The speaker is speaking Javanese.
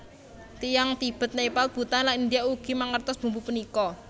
Tiyang Tibet Nepal Bhutan lan India ugi mangertos bumbu punika